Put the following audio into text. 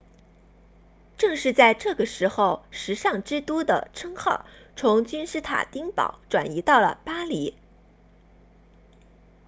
正是在这个时候时尚之都的称号从君士坦丁堡转移到了巴黎